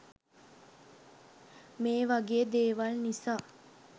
මේ වගේ දේවල් නිසා